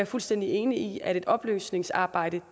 fuldstændig enig i at et oplysningsarbejde